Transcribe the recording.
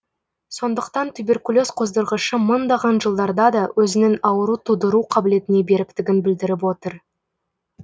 сондықтан туберкулез қоздырғышы мыңдаған жылдарда да өзінің ауру тудыру қабілетіне беріктігін білдіріп отыр